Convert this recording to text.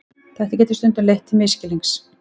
Þetta getur stundum leitt til misskilnings.